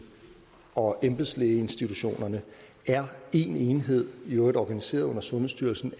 og embedslægeinstitutionerne er én enhed i øvrigt organiseret under sundhedsstyrelsen